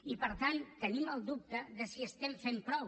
i per tant tenim el dubte de si estem fent prou